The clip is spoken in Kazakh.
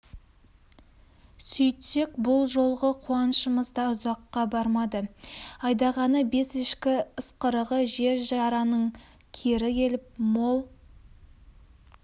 сөйтсек бұл жолғы қуанышымыз да ұзаққа бармады айдағаны бес ешкі ысқырығы жер жараның кері келіп мол